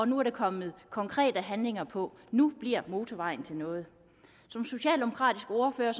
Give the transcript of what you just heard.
nu er der kommet konkrete handlinger på nu bliver motorvejen til noget som socialdemokratisk ordfører